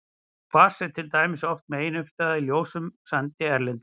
Kvars er til dæmis oft meginuppistaðan í ljósum sandi erlendis.